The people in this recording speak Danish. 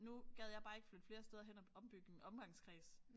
Nu gad jeg bare ikke flytte flere steder hen og ombygge min omgangskreds